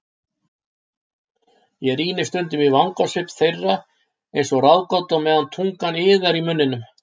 Ég rýni stundum í vangasvip þeirra einsog ráðgátu á meðan tungan iðar í munninum.